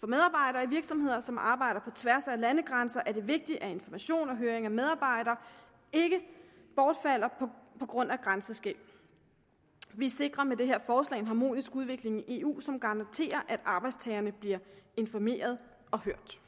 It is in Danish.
for medarbejderne i virksomheder som arbejder på tværs af landegrænser er det vigtigt at information og høring af medarbejdere ikke bortfalder på grund af grænseskel vi sikrer med det her forslag en harmonisk udvikling i eu som garanterer at arbejdstagerne bliver informeret og hørt